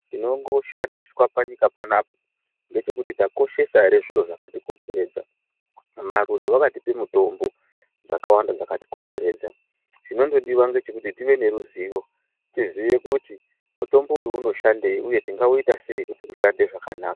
Chinongoshandiswa panyika panapa ngechekuti takoshesa here zviro zvakatikomberedza. Marure wakatipe mutombo dzakawanda dzakatikomberedza. Chinongodiwa ngechekuti tive neruzivo, tizive kuti mutombo uyu unoshandei uye tingauita sei kuti ushande zvakanaka.